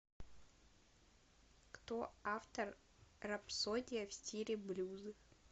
кто автор рапсодия в стиле блюз